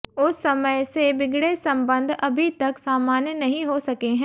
उस समय से बिगड़े संबंध अभी तक सामान्य नहीं हो सके हैं